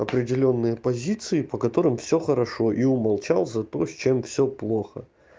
определённые позиции по которым все хорошо и умолчал за то с чем все плохо